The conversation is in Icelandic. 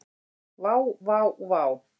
Vá, vá vá.